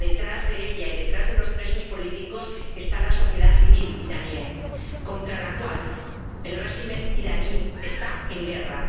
Pero, detrás de ella y detrás de los presos políticos, está la sociedad civil iraní, contra la cual el régimen iraní está en guerra.